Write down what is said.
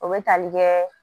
O bɛ tali kɛ